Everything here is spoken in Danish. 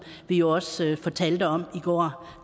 vi jo også fortalte om i går